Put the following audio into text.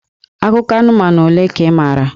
Akụkọ anụmanụ ole ka ị maara?